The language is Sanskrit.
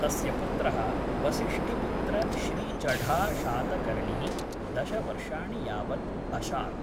तस्य पुत्रः वसिष्ठिपुत्र श्री चढा शातकर्णिः दश वर्षाणि यावत् अशात्।